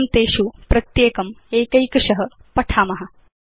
वयं तेषु प्रत्येकम् एकैकश पठिष्याम